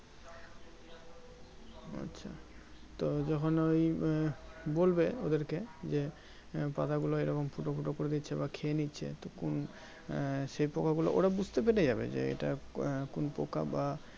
আচ্ছা তো যখন ওই আহ বলবে ওদের কে যে পাতা গুলো এই রকম ফুটো ফুটো করে দিচ্ছে বা খেয়ে নিচ্ছে তো কোন আহ সেই পোকা গুলো ওরা বুজতে পেরে যাবে যে এটা কোন পোকা বা